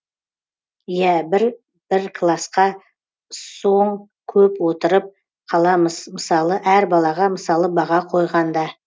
иә бір классқа сон көп отырып қаламыз мысалы әр балаға мысалы баға қойғанда